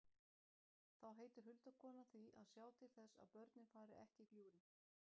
Þá heitir huldukonan því að sjá til þess að börnin fari ekki í gljúfrin.